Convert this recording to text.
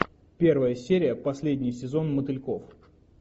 первая серия последний сезон мотыльков